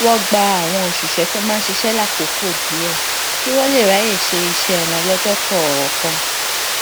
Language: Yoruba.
wón gba àwọn òṣìṣé tó máa ń ṣiṣé lákòókò díè kí wón lè ráyè ṣe iṣé wọn lójó kòòkan